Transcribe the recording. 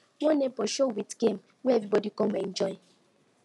one neighbor show with game wey everybody come enjoy